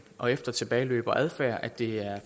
og efter tilbageløb og adfærd er det